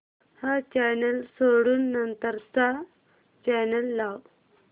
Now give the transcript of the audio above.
हा चॅनल सोडून नंतर चा चॅनल लाव